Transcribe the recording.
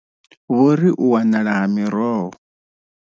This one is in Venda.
Vho ri u wanala ha miroho.